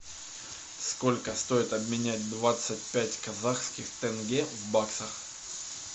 сколько стоит обменять двадцать пять казахских тенге в баксах